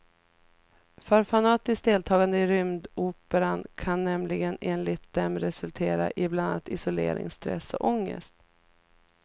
För fanatiskt deltagande i rymdoperan kan nämligen enligt dem resultera i bland annat isolering, stress och ångest.